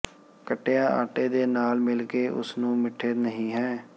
ਕੱਟਿਆ ਆਟੇ ਦੇ ਨਾਲ ਮਿਲ ਕੇ ਉਸ ਨੂੰ ਮਿੱਠੇ ਨਹੀ ਹੈ